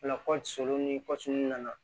O la kɔɔri sogo ni nana